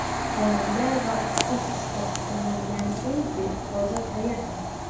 Xonanda va aktrisa sifatida tanilgan Indi hozir qayerda?